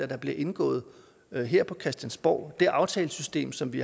der bliver indgået her her på christiansborg det aftalesystem som vi